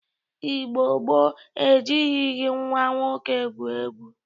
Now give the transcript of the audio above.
Igbo gboo e jirighi nwa nwoke egwu egwu.